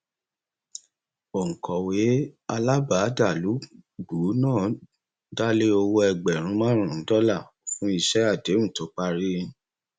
òǹkọwé alábàádàlúgbùú náà dá lé owó ẹgbẹrún márùnún dọlà fún iṣẹ àdéhùn tó parí